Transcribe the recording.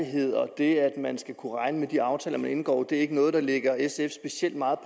og det at man skal kunne regne med de aftaler man indgår ikke er noget der ligger sf specielt meget